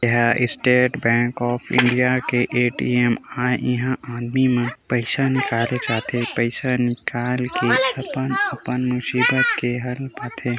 एहा State Bank of India A T M इहाँ आदमी मन पईसा निकाले जाथे पईसा निकाल के अपन-अपन मुसीबत के हल् पाथे।